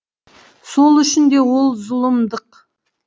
сол үшін де ол зұлымдық